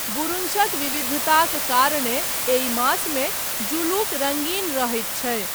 बुरुंशक विविधताक कारणेँ एहि मासमे ज़ुलुक रङ्गीन रहैत छै।